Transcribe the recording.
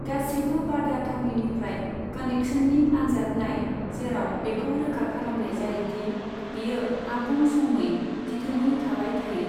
गासिबो बादा थावनिनिफ्राय कनेक्शननि आनजाद नाय जेराव बेखौ रोखा खालामनाय जायोदि बेयो आबुं समयै दिदोमै थाबाय थायो।